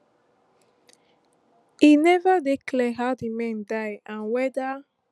e neva dey clear how di men die and weda